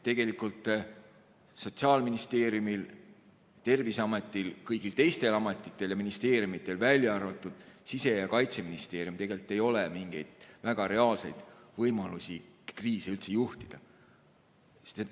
Tegelikult Sotsiaalministeeriumil, Terviseametil, kõigil teistel ametitel ja ministeeriumidel, välja arvatud Siseministeerium ja Kaitseministeerium, ei ole mingeid väga reaalseid võimalusi kriise üldse juhtida.